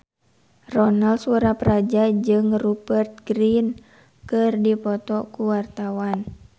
Ronal Surapradja jeung Rupert Grin keur dipoto ku wartawan